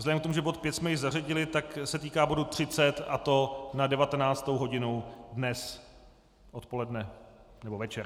Vzhledem k tomu, že bod 5 jsme již zařadili, tak se týká bodu 30, a to na 19. hodinu dnes odpoledne nebo večer.